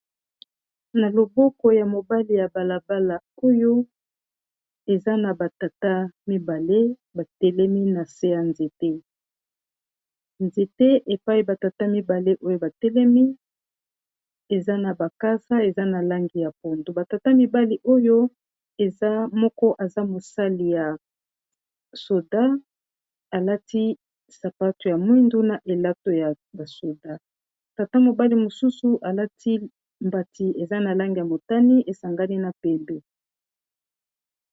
Na loboko ya mobali ya balabala oyo eza na batata mibale batelemi na se ya nzete nzete epai batata mibale oyo batelemi eza na bakasa eza na langi ya pondo batata mibale oyo eza moko aza mosali ya soda alati sapato ya mwindu na elato ya basoda tata mobali mosusu alati mbati eza na langi ya motani esangani na pembe.